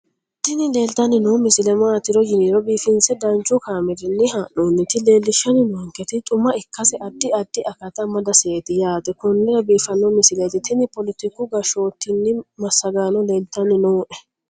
tini leeltanni noo misile maaati yiniro biifinse danchu kaamerinni haa'noonnita leellishshanni nonketi xuma ikkase addi addi akata amadaseeti yaate konnira biiffanno misileeti tini poletiku gashshootim massagano leltanni nooe